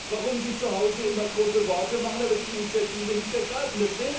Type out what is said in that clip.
Warum sie zuhause immer große Worte machen, aber nicht die Initiative ergreifen.